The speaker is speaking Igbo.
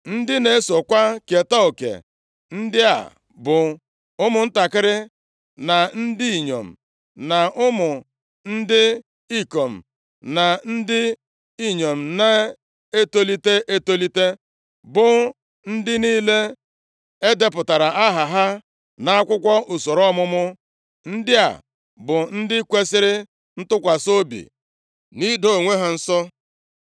Ndị na-esokwa keta oke ndị a bụ ụmụntakịrị, na ndị inyom, na ụmụ ndị ikom na ndị inyom na-etolite etolite, bụ ndị niile e depụtara aha ha nʼakwụkwọ usoro ọmụmụ. Ndị a bụ ndị kwesiri ntụkwasị obi nʼido onwe ha nsọ.